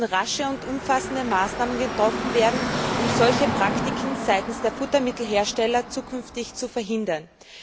Es müssen rasche und umfassende Maßnahmen getroffen werden, um solche Praktiken der Futtermittelhersteller zukünftig zu verhindern.